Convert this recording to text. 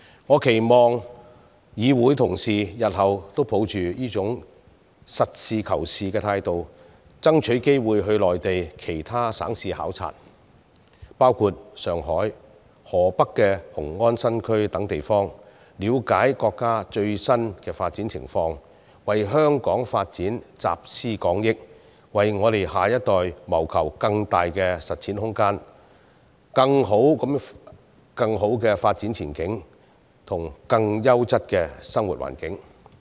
我期望議會同事日後都能抱着這種實事求是的態度，爭取機會到內地其他省市考察，包括上海、河北雄安新區等地方，了解國家的最新發展情況，為香港發展集思廣益，為下一代謀求更大的實踐空間、更好的發展前景，以及更優質的生活環境。